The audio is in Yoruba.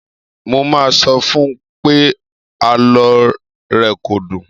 Mo máa sọ fún pé àlọ́ rẹ kò dùn.